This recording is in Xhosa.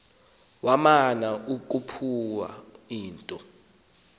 wamana ukuphawula into